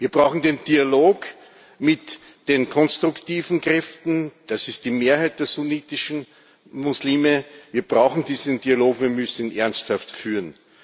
haben. Wir brauchen den Dialog mit den konstruktiven Kräften das ist die Mehrheit der sunnitischen Muslime. Wir brauchen diesen Dialog, und wir müssen ihn ernsthaft